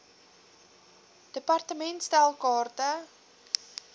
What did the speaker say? department stel kaarte